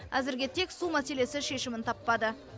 әзірге тек су мәселесі шешімін таппады